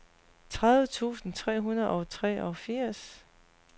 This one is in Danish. tredive tusind tre hundrede og treogfirs